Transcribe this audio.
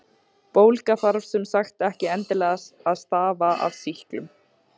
Bólga þarf sem sagt ekki endilega að stafa af sýklum.